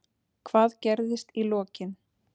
Hvað gerðist í lokin?